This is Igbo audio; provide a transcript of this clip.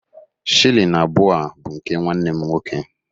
Shilling abụọ a bụ nke nwanne m nwoke